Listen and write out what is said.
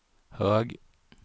hög